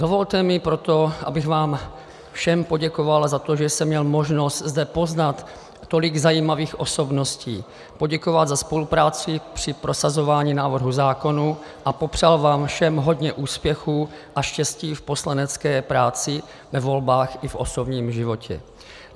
Dovolte mi proto, abych vám všem poděkoval za to, že jsem měl možnost zde poznat tolik zajímavých osobností, poděkoval za spolupráci při prosazování návrhů zákonů a popřál vám všem hodně úspěchů a štěstí v poslanecké práci, ve volbách i v osobních životě.